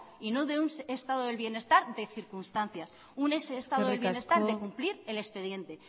y no de un estado del bienestar de circunstancias un eskerrik asko estado del bienestar de cumplir el expediente